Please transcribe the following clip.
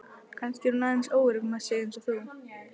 Kannski er hún aðeins óörugg með sig eins og þú.